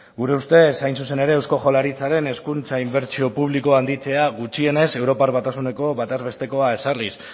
gure ustez hain zuzen ere eusko jaurlaritzaren hezkuntza inbertsio publikoa handitzea gutxienez europar batasuneko bataz bestekoa ezarriz